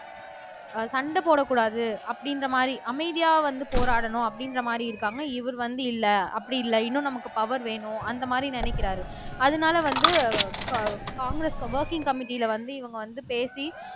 சண்டை போடக் கூடாது அப்படின்ற மாதிரி அமைதியா வந்து போராடணும் அப்படின்ற மாதிரி இருக்காங்க இவர் வந்து இல்ல அப்படி இல்ல இன்னும் நமக்கு பவர் வேணும் அந்த மாதிரி நினைக்கிறாரு அதனால வந்து காங் காங்கிரஸ் ஒர்கிங் கம்மிட்டில வந்து இவங்க வந்து பேசி